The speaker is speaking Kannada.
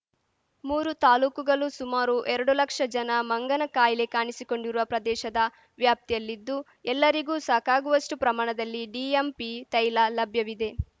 ಮೂರು ತಾಲೂಕುಗಲು ಸುಮಾರು ಎರಡು ಲಕ್ಷ ಜನ ಮಂಗನ ಕಾಯಿಲೆ ಕಾಣಿಸಿಕೊಂಡಿರುವ ಪ್ರದೇಶದ ವ್ಯಾಪ್ತಿಯಲ್ಲಿದ್ದು ಎಲ್ಲರಿಗೂ ಸಾಕಾಗುವಷ್ಟುಪ್ರಮಾಣದಲ್ಲಿ ಡಿಎಂಪಿ ತೈಲ ಲಭ್ಯವಿದೆ